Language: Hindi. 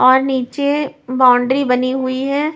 और नीचे बाउंड्री बनी हुई है।